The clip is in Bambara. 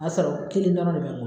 sɔrɔ kelen dɔrɔn de bɛ n bolo.